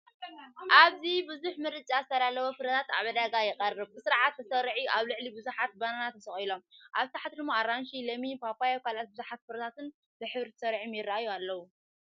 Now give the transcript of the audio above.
ኣብዚ ብዙሕ ምርጫ ዝተዳለወ ፍረታት ኣብ ዕዳጋ ይቐርብ፡ ብስርዓት ተሰሪዑ፤ ኣብ ላዕሊ ብዙሓት ባናና ተሰቒሎም፡ ኣብ ታሕቲ ድማ ፡ ኣራንሺ፡ ለሚን፡ ፓፓዮን ካልኦት ብዙሓት ፍሩታታትን ብሕብሪ ተሰሪዖም ይራኣዩ ኣለው።